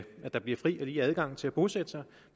der bliver fri og lige adgang til at bosætte sig